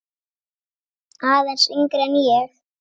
Aðeins yngri en ég.